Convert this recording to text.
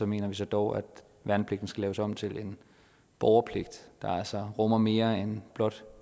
mener så dog at værnepligten skal laves om til en borgerpligt der altså rummer mere end blot